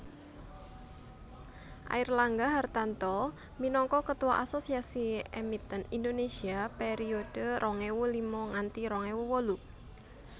Airlangga Hartarto minangka Ketua Asosiasi Emiten Indonesia periode rong ewu lima nganti rong ewu wolu